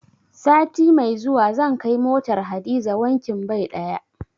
Sati mai zuwa zan kai motar Hadiza wankin bai ɗaya.